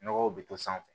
Nɔgɔw bɛ to sanfɛ